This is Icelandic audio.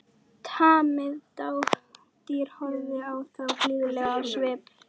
Tamið dádýr horfði á þá blíðlegt á svip.